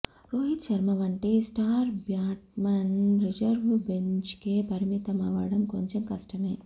రోహిత్ శర్మ వంటి star batsman reserve బెంచ్కే పరిమితమవడం కొంచెం కష్టమే